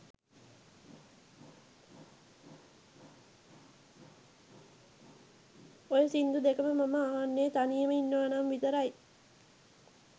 ඔය සින්දු දෙකම මම අහන්නෙ තනියම ඉන්නවනම් විතරයි.